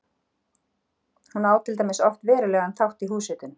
Hún á til dæmis oft verulegan þátt í húshitun.